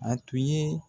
A tun ye